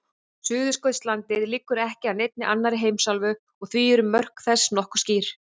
Suðurskautslandið liggur ekki að neinni annarri heimsálfu og því eru mörk þess nokkuð skýr.